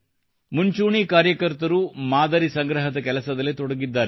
ಮುಂಚೂಣಿ ಕಾರ್ಯಕರ್ತರು ಮಾದರಿ ಸಂಗ್ರಹದ ಕೆಲಸದಲ್ಲಿ ತೊಡಗಿದ್ದಾರೆ